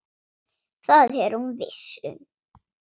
Það er hún viss um.